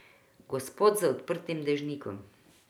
Gospod z odprtim dežnikom.